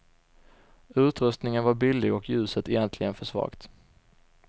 Utrustningen var billig och ljuset egentligen för svagt.